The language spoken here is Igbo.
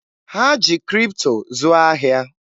Ha ji Kripto zụọ ahịa.